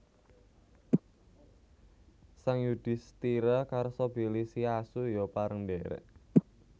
Sang Yudhistira karsa bilih si asu ya pareng ndhèrèk